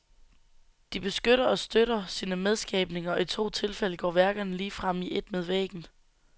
De beskytter og støtter sine medskabninger og i to tilfælde går værkerne ligefrem i et med væggen.